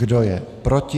Kdo je proti?